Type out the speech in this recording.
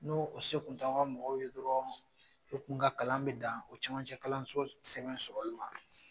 N'o se kun t'aw ka mɔgɔw ye dɔrɔn, e kun ka kalan bɛ dan, o camancɛ kalanso sɛgɛn sɔrɔli ma.